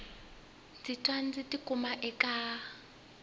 ndzi pfa ndzi tikuma eka